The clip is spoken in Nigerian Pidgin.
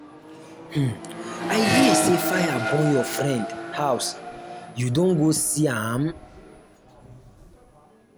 um i hear say fire burn your friend house you don go see am?